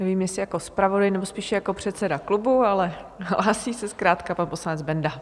Nevím, jestli jako zpravodaj, nebo spíše jako předseda klubu, ale hlásí se zkrátka pan poslanec Benda.